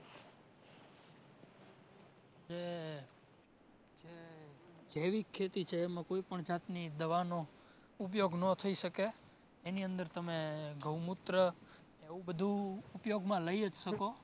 જે જે જૈવિક ખેતી છે એમાં કોઈપણ જાતની દવાનો ઉપયોગ ન થાય શકે. એની અંદર તમે ગૌમુત્ર એવું બધુ ઉપયોગમાં લઈ જ શકો